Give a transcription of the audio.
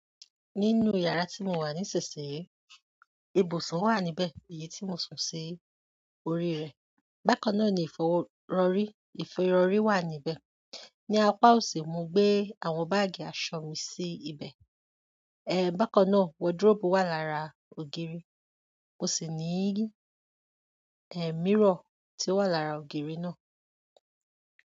Nínú yàrá tí mò ń wà níṣinṣinyi, ibùsùn wà níbẹ̀ èyí tí mò sùn sí orí rẹ̀. Bákan náà ni ìfọwo--rọrí, ìfirọrí wà níbẹ̀. Ni apá òsì, mo gbé àwọn báàgì aṣọ mi sí ibẹ̀. Bákan náà, wardrobe wà lára ògiri. Mo sì ní, mirror tí ó wà lára ògiri náà.